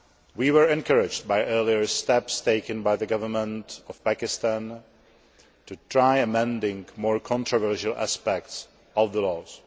We were encouraged by earlier steps taken by the government of Pakistan to try amending more controversial aspects of the laws.